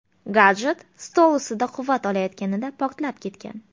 Gadjet stol ustida quvvat olayotganida portlab ketgan.